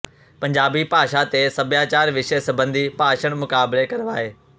ਪੰਜਾਬੀ ਭਾਸ਼ਾ ਤੇ ਸਭਿਆਚਾਰ ਵਿਸ਼ੇ ਸਬੰਧੀ ਭਾਸ਼ਣ ਮੁਕਾਬਲੇ ਕਰਵਾਏ